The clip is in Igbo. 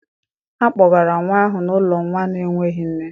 A kpọgara nwa ahụ n'ụlọ nwa na-enweghị nne